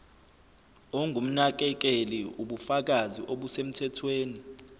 ongumnakekeli ubufakazi obusemthethweni